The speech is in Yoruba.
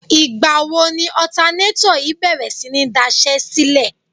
Ìgbà wo ni ọ̀tanátọ̀ yìí bèrè sí ní daṣẹ́sílẹ̀?